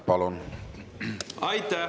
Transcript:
Palun!